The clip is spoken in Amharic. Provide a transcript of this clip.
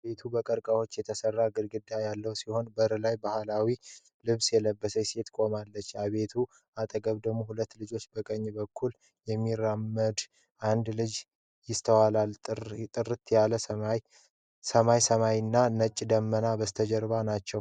ቤቱ በቀርከሃዎች የተሰራ ግድግዳ ያለው ሲሆን፣ በር ላይ ባህላዊ ልብስ የለበሰች ሴት ቆማለች። ከቤቱ አጠገብ ደግሞ ሁለት ልጆችና በቀኝ በኩል የሚራመድ አንድ ልጅ ይስተዋላሉ፤ ጥርት ያለ ሰማያዊ ሰማይና ነጭ ደመና በስተጀርባ ናቸው።